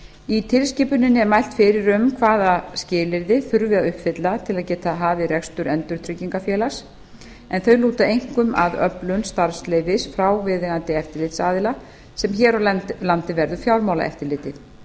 í tilskipuninni er mælt fyrir um hvaða skilyrði þurfi að uppfylla til að geta hafið rekstur endurtryggingafélags en þau lúta einkum að öflun starfsleyfis frá viðeigandi eftirlitsaðila sem hér á landi verður fjármálaeftirlitið